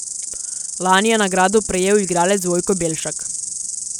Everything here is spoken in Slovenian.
Lani je nagrado prejel igralec Vojko Belšak.